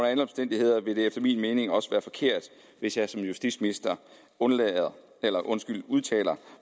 alle omstændigheder ville det efter min mening også være forkert hvis jeg som justitsminister udtalte